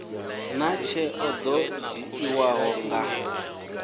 naa tsheo dzo dzhiiwaho nga